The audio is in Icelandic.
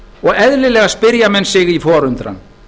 og eðlilega spyrja menn sig í forundran